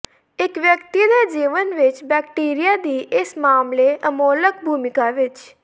ਇੱਕ ਵਿਅਕਤੀ ਦੇ ਜੀਵਨ ਵਿੱਚ ਬੈਕਟੀਰੀਆ ਦੀ ਇਸ ਮਾਮਲੇ ਅਮੋਲਕ ਭੂਮਿਕਾ ਵਿਚ